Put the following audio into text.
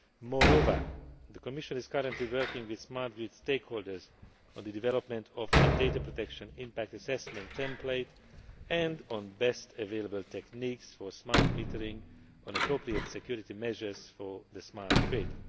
out. Moreover, the Commission is currently working with smart grid stakeholders on the development of a Data Protection Impact Assessment template and on best available techniques for smart metering and appropriate security measures for the smart grid.